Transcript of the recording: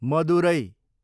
Madurai